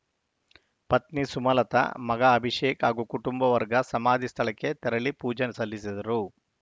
ಪತ್ನಿ ಸುಮಲತಾ ಮಗ ಅಭಿಷೇಕ್‌ ಹಾಗೂ ಕುಟುಂಬ ವರ್ಗ ಸಮಾಧಿ ಸ್ಥಳಕ್ಕೆ ತೆರಳಿ ಪೂಜೆ ಸಲ್ಲಿಸಿದರು